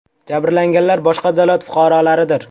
Jabrlanganlar boshqa davlat fuqarolaridir.